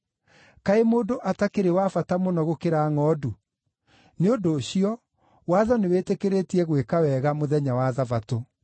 Kaĩ mũndũ atakĩrĩ wa bata mũno gũkĩra ngʼondu! Nĩ ũndũ ũcio watho nĩwĩtĩkĩrĩtie gwĩka wega mũthenya wa Thabatũ.”